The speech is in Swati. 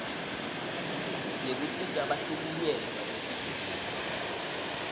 yekusita bahlukunyetwa bebugebengu